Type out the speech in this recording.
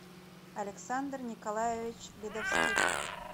александр николаевич ледовских